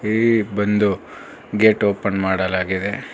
ಈ ಬಂದು gate open ಮಾಡಲಾಗಿದೆ.